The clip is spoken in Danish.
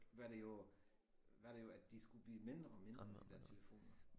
Var det jo var det jo at de skulle blive mindre og mindre de der telefoner